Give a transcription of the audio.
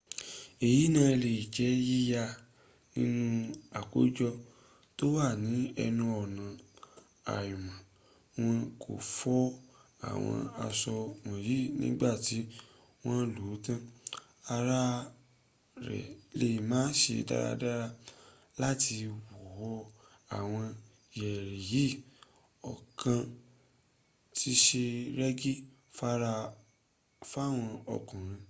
èyí náà lè jẹ́ yíyá nínú àkójọ tó wà ní ẹnu ọ̀nà àmọ́ wọn kò fọ àwọn aṣọ wọ̀nyí nígbà tí wọ́n lò ó tán ara rẹ lé má se dáradára láti wọ́ àwọn yẹ̀rì yìí ọ̀kan ti se rẹ́gí fáwọn ọkùnrin